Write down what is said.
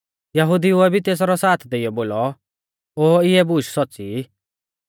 यहुदिउऐ भी तेसरौ साथ देइयौ बोलौ ओ इऐ बुशै सौच़्च़ी ई